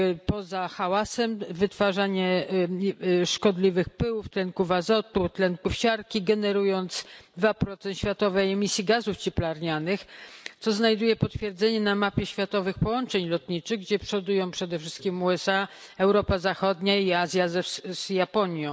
Poza hałasem, wytwarzaniem szkodliwych pyłów, tlenków azotu, tlenku siarki, generuje 2 światowej emisji gazów cieplarnianych, co znajduje potwierdzenie na mapie światowych połączeń lotniczych, gdzie przodują przede wszystkim USA, Europa Zachodnia i Azja z Japonią.